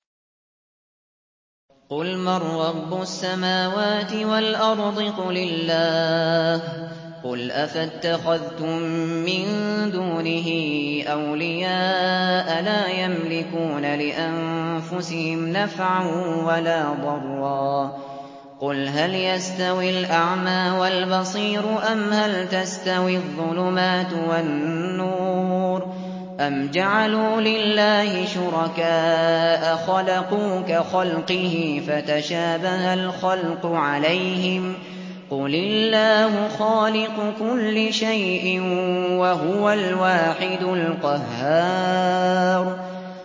قُلْ مَن رَّبُّ السَّمَاوَاتِ وَالْأَرْضِ قُلِ اللَّهُ ۚ قُلْ أَفَاتَّخَذْتُم مِّن دُونِهِ أَوْلِيَاءَ لَا يَمْلِكُونَ لِأَنفُسِهِمْ نَفْعًا وَلَا ضَرًّا ۚ قُلْ هَلْ يَسْتَوِي الْأَعْمَىٰ وَالْبَصِيرُ أَمْ هَلْ تَسْتَوِي الظُّلُمَاتُ وَالنُّورُ ۗ أَمْ جَعَلُوا لِلَّهِ شُرَكَاءَ خَلَقُوا كَخَلْقِهِ فَتَشَابَهَ الْخَلْقُ عَلَيْهِمْ ۚ قُلِ اللَّهُ خَالِقُ كُلِّ شَيْءٍ وَهُوَ الْوَاحِدُ الْقَهَّارُ